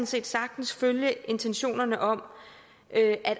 set sagtens følge intentionerne om at